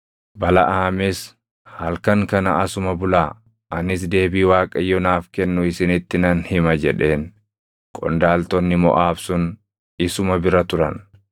Balaʼaamis, “Halkan kana asuma bulaa; anis deebii Waaqayyo naaf kennu isinitti nan hima” jedheen. Qondaaltonni Moʼaab sun isuma bira turan.